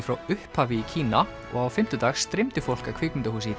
frá upphafi í Kína og á fimmtudag streymdi fólk að kvikmyndahúsi í